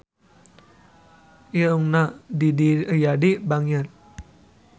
Irungna Didi Riyadi bangir